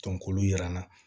k'olu yiran na